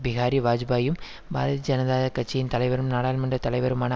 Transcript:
பிஹாரி வாஜ்பாயியும் பாரதிய ஜனதா கட்சியின் தலைவரும் நாடாளுமன்ற தலைவருமான